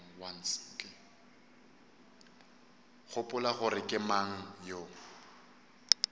gopola gore ke mang yo